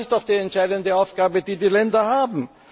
Das ist doch die entscheidende Aufgabe, die die Länder haben.